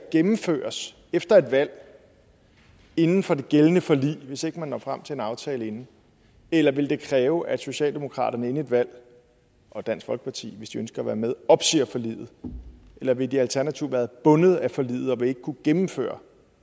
gennemføres efter et valg inden for det gældende forlig hvis ikke man når frem til en aftale inden eller vil det kræve at socialdemokratiet inden et valg og dansk folkeparti hvis de ønsker at være med opsiger forliget eller vil de alternativt være bundet af forliget og ikke kunne gennemføre